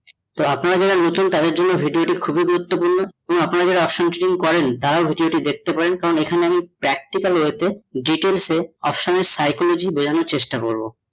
তো আপনারা যারা নতুন তাদের জন্য video টা খুবই গুরুত্বপূর্ণ এবং আপনারা যারা option trading করেন তারা video টি দেখতে পারেন কারণ এখানে আমি practical way তে details এ option এর Psychology টা বোঝানোর চেষ্টা করবো।